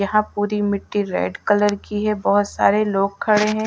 यहां पूरी मिट्टी रेड कलर की है बहोत सारे लोग खड़े हैं।